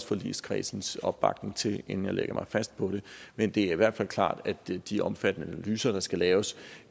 forligskredsens opbakning til inden jeg lægger mig fast på det men det er i hvert fald klart at de de omfattende analyser der skal laves